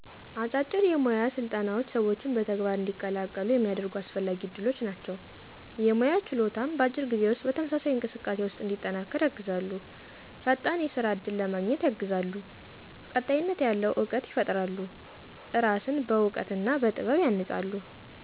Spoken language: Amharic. አጫጭር የሞያ ስልጠናዎች ሰዎችን በተግባር እንዲቀላቀሉ የሚያደርጉ አስፈላጊ ዕድሎች ናቸው። የሞያ ችሎታን በአጭር ጊዜ ውስጥ በተመሳሳይ እንቅስቃሴ ውስጥ እንዲጠናከር ያግዛሉ። ፈጣን የስራ እድል ለማገኘት ያግዛሉ። ቀጣይነት ያለው እውቀት ይፈጥራሉ። እራስን በዕውቀት ና በጥበብ ያንጻሉ።